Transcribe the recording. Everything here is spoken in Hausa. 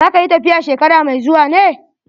Za ka yi tafiya shekara mai zuwa ne?